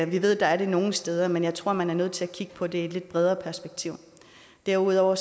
vi ved at der er det nogle steder men jeg tror man er nødt til at kigge på det i et lidt bredere perspektiv derudover